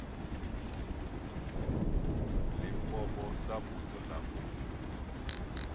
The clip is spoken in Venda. limpopo sa buḓo ḽa u